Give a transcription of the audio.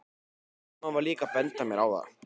Mamma var líka að benda mér á það.